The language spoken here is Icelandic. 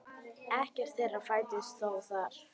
Ekkert þeirra fæddist þó þar.